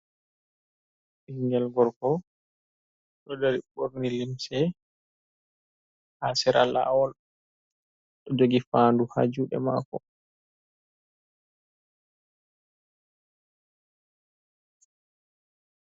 Ɓinngel gorko ɗo dari ɓorni limse ha sera laawol, ɗo jogi faandu ha juuɗe maako.